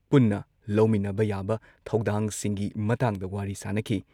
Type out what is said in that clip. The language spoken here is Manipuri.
ꯄꯨꯟꯅ ꯂꯧꯃꯤꯟꯅꯕ ꯌꯥꯕ ꯊꯧꯗꯥꯡꯁꯤꯡꯒꯤ ꯃꯇꯥꯡꯗ ꯋꯥꯔꯤ ꯁꯥꯟꯅꯈꯤ ꯫